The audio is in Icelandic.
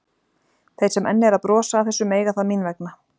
Þeir sem enn eru að brosa að þessu mega það mín vegna.